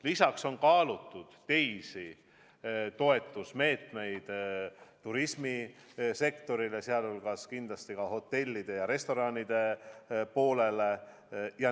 Lisaks on kaalutud teisi toetusmeetmeid turismisektorile, sh hotellidele ja restoranidele.